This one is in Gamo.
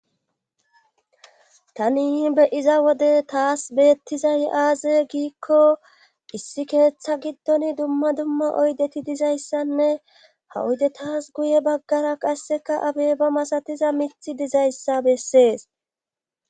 Tani be7iza wode tas beettiday aaze giikko issi keetha giddon dumma dumma oydeti dizayssane ha oydetas qasseka guye baggara abeeba masatiza mithi dizayssa bessees.